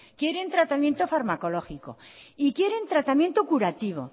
quieren tratamiento farmacológico y quieren tratamiento curativo